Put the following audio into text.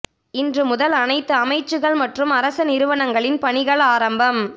இன்று முதல் அனைத்து அமைச்சுக்கள் மற்றும் அரச நிறுவனங்களின் பணிகள் ஆரம்பம்